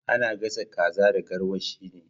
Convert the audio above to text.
Ana gasa kaza da garwashi ne